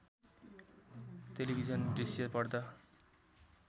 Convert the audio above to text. television दृश्य पर्दा